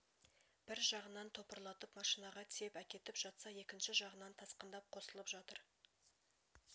бір жағынан топырлатып машинаға тиеп әкетіп жатса екінші жағынан тасқындап қосылып жатыр